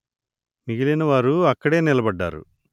మిగిలిన వారు అక్కడే నిలబడ్డారు